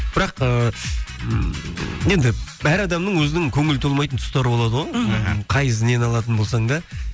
бірақ ыыы ммм енді әр адамның өзінің көңілі толмайтын тұстары болады ғой мхм нені алатын болсаң да